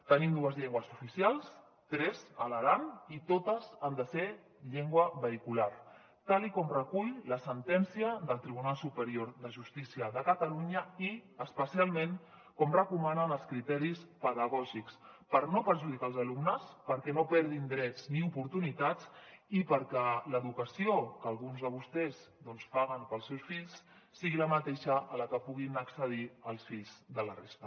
tenim dues llengües oficials tres a l’aran i totes han de ser llengua vehicular tal com recull la sentència del tribunal superior de justícia de catalunya i especialment com recomanen els criteris pedagògics per no perjudicar els alumnes perquè no perdin drets ni oportunitats i perquè l’educació que alguns de vostès paguen per als seus fills sigui la mateixa a la que puguin accedir els fills de la resta